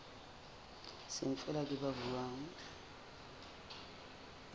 seng feela ke ba buang